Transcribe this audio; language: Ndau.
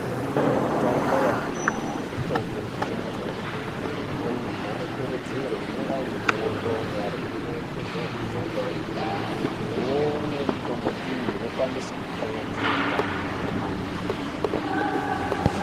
Mitombo yakudhaha mitombo inoshanda kwemene, antu anokurudzirwa kungaaine fundo maringe ngezvemitombo yekudhaha imweni mitombo iyi inokwanise kukanganise utano hweantu.